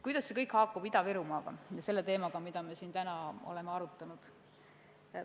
Kuidas see kõik haakub Ida-Virumaaga ja selle teemaga, mida me täna siin oleme arutanud?